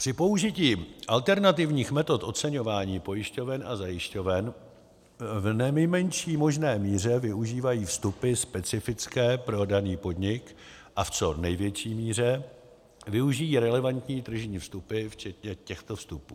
Při použití alternativních metod oceňování pojišťoven a zajišťoven v nejmenší možné míře využívají vstupy specifické pro daný podnik a v co největší míře využijí relevantní tržní vstupy včetně těchto vstupů.